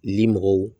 Limɔgɔw